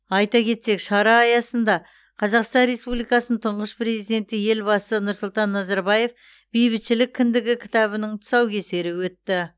айта кетсек шара аясында қазақстан республикасының тұңғыш президенті елбасы нұрсұлтан назарбаевтың бейбітшілік кіндігі кітабының тұсаукесері өтті